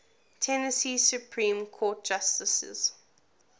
tennessee supreme court justices